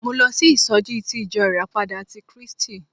Mo lọ sí ìsọjí ti ìjọ ìràpadà ti Krístì.